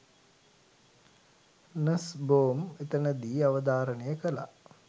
නස්බෝම් එතනදි අවධාරණය කළා.